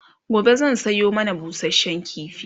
gobe zan Sayo mana busashen kifi